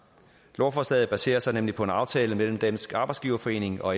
lovforslaget baserer sig nemlig på en aftale mellem dansk arbejdsgiverforening og